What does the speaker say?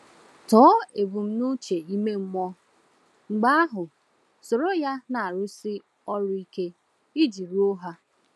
Tọọ ebumnuche ime mmụọ, mgbe ahụ soro ya na-arụsi ọrụ ike iji ruo ha.